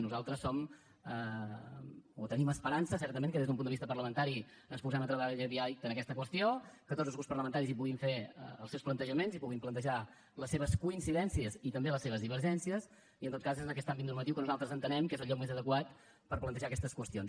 nosaltres tenim esperança certament que des d’un punt de vista parlamentari ens posem a treballar aviat en aquesta qüestió que tots els grups parlamentaris hi puguin fer els seus plantejaments i puguin plantejar les seves coincidències i també les seves divergències i en tot cas és en aquest àmbit normatiu que nosaltres entenem que és el lloc més adequat per plantejar aquestes qüestions